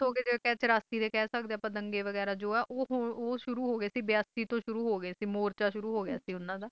ਜਿਥੋਂ ਆਪਾਂ ਕਹਿ ਸਕਦੇ ਹਾਂ ਕਿ ਚੌਰਾਸੀ ਦੇ ਕਹਿ ਸਕਦੇ ਹਾਂ ਆਪਾਂ ਦੰਗੇ ਵਗੈਰਾ ਉਹ ਸ਼ੁਰੂ ਹੋ ਗਏ ਸੀ ਬਿਆਸੀ ਤੋਂ ਸ਼ੁਰੂ ਹੋ ਗਏ ਸੀ ਬਿਆਸੀ ਤੋਂ ਸ਼ੁਰੂ ਹੋ ਗਏ ਸੀ ਮੋਰਚਾ ਸ਼ੁਰੂ ਹੋ ਗਿਆ ਸੀ ਉਨ੍ਹਾਂ ਦਾ